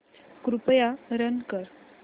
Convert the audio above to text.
कृपया रन कर